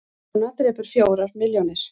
Kona drepur fjórar milljónir